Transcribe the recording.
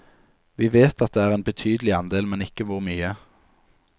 Vi vet at det er en betydelig andel, men ikke hvor mye.